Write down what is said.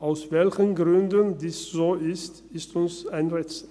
Aus welchen Gründen dies so ist, ist uns ein Rätsel.